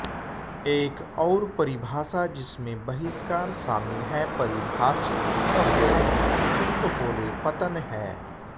एक और परिभाषा जिसमें बहिष्कार शामिल है परिभाषित शब्द सिंकहोले पतन है